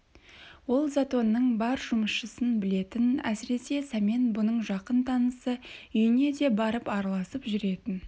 ол затонның бар жұмысшысын білетін әсіресе сәмен бұның жақын танысы үйіне де барып араласып жүретін